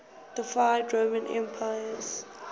deified roman emperors